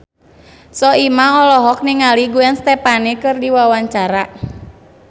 Soimah olohok ningali Gwen Stefani keur diwawancara